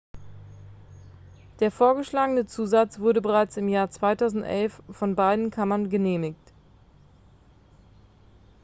der vorgeschlagene zusatz wurde bereits im jahr 2011 von beiden kammern genehmigt